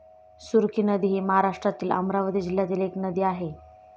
सुरखी नदी हि महाराष्ट्रातील अमरावती जिल्ह्यातील एक नदी आहे.